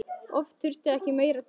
Oft þurfti ekki meira til.